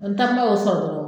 Wa n tanba o sɔrɔ dɔrɔn